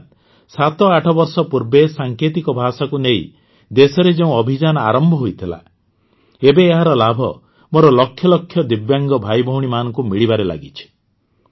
ଅର୍ଥାତ ସାତ ଆଠ ବର୍ଷ ପୂର୍ବେ ସାଙ୍କେତିକ ଭାଷାକୁ ନେଇ ଦେଶରେ ଯେଉଁ ଅଭିଯାନ ଆରମ୍ଭ ହୋଇଥିଲା ଏବେ ଏହାର ଲାଭ ମୋର ଲକ୍ଷ ଲକ୍ଷ ଦିବ୍ୟାଙ୍ଗ ଭାଇଭଉଣୀ ମାନଙ୍କୁ ମିଳିବାରେ ଲାଗିଛି